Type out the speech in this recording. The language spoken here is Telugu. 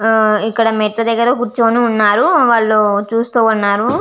ఆ ఇక్కడ మెట్లు దగ్గర కురుచొని వున్నారు వాళ్ళు చూస్తూ వున్నాను.